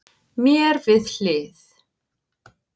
Mér við hlið